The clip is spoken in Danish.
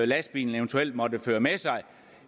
lastbilen eventuelt måtte føre med sig